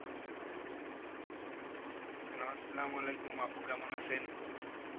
Hello আসসালামু আলাইকুম, আপু কেমন আছেন?